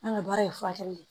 An ka baara ye furakɛli ye